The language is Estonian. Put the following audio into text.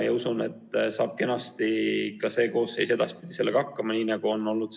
Usun, et saab ka see koosseis sellega kenasti hakkama, nii nagu varem on olnud.